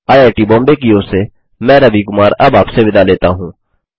IIT Bombay की ओर से मैं रवि कुमार अब आपसे विदा लेता हूँ